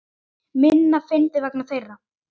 Minna fyndinn vegna þeirra.